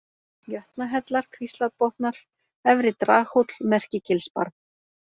Jötnahellar, Kvíslarbotnar, Efri-Draghóll, Merkigilsbarð